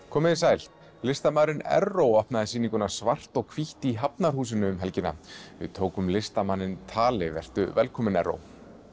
komið þið sæl listamaðurinn Erró opnaði sýninguna svart og hvítt í Hafnarhúsinu um helgina við tókum listamanninn tali vertu velkominn Erró